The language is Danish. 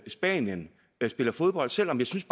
spanien spiller fodbold selv om jeg synes